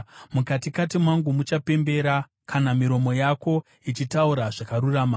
mukatikati mangu muchapembera kana miromo yako ichitaura zvakarurama.